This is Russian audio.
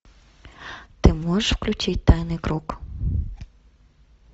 ты можешь включить тайный круг